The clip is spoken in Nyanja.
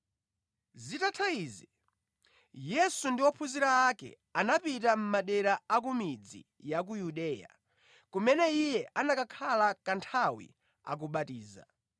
Zitatha izi, Yesu ndi ophunzira ake anapita mʼmadera a ku midzi ya ku Yudeya, kumene Iye anakhala kanthawi akubatiza.